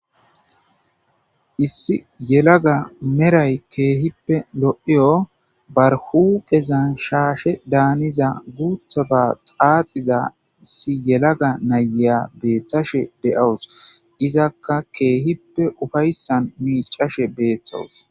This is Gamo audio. Issi yelaga meray keehippe lo7iyo bar huuphezan shaashedaanizina guuththaba xaaxiza yelaga nayiya beeththashe de7awus; izakka keehippe ufayssan miiccashe beeththawus.